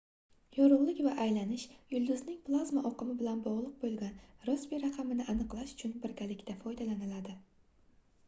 yorugʻlik va aylanish yulduzning plazma oqimi bilan bogʻliq boʻlgan rossbi raqamini aniqlash uchun birgalikda foydalaniladi